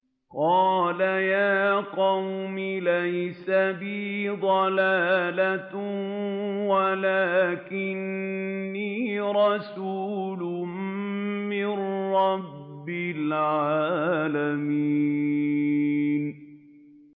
قَالَ يَا قَوْمِ لَيْسَ بِي ضَلَالَةٌ وَلَٰكِنِّي رَسُولٌ مِّن رَّبِّ الْعَالَمِينَ